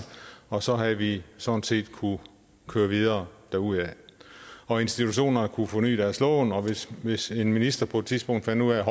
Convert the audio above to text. og så havde vi sådan set kunnet køre videre derudad og institutionerne kunne forny deres lån og hvis hvis en minister på et tidspunkt fandt ud af at